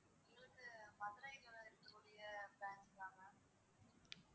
எங்களுக்கு மதுரைல இருக்கக்கூடிய branch தான் ma'am